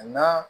N'a